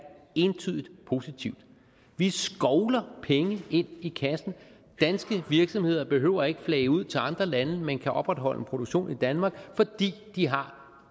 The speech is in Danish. entydigt positivt vi skovler penge ind i kassen danske virksomheder behøver ikke flage ud til andre lande men kan opretholde en produktion i danmark fordi de har